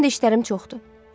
Həm də işlərim çoxdur.